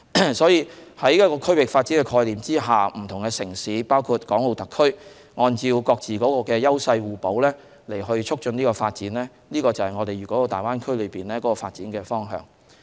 因此，在一個區域發展的概念下，不同城市，包括港澳特區，按照各自的優勢互補，促進發展，這便是粵港澳大灣區的發展方向。